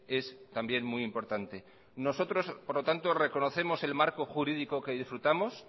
es también muy importante nosotros por lo tanto reconocemos el marco jurídico que disfrutamos